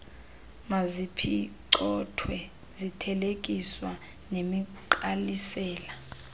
maziphicothwe zithelekiswa nemigqalisela